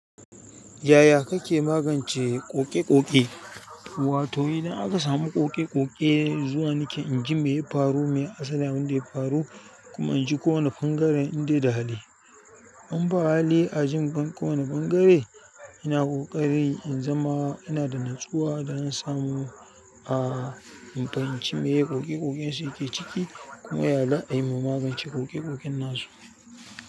Yaya kake magance ƙoƙe-ƙoƙe? Wato idan aka samu ƙoƙe-ƙoƙe zuwa nake inji me ya faru, me ya sanda wanda ya faru kuma anji kowane ɓangaren inda ya hali. In ba hali ajin banko wani ɓangare ina ƙoƙari in zama ina da natsuwa da na samu a in fahimci me ya yi ƙoƙe-ƙoƙen su yake ciki kuma ya la'ana a yi magance ƙoƙe-ƙoƙen na su.